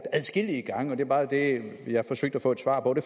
adskillige gange og det er bare det jeg forsøgte at få et svar på det